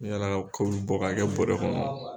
Yaala ka kurun bɔ k'a kɛ bɔrɛ kɔnɔ